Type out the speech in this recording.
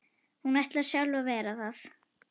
Hún ætlar sjálf að vera það.